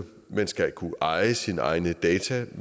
man skal kunne eje sine egne data